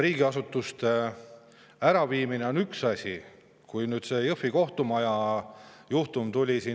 Riigiasutuste äraviimine on üks mure.